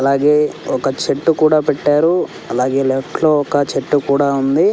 అలాగే ఒక చెట్టు కూడా పెట్టారు అలాగే లెఫ్ట్ లో ఒక చెట్టు కూడా ఉంది.